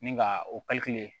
Ni ka o